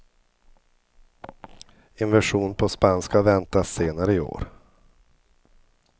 En version på spanska väntas senare i år.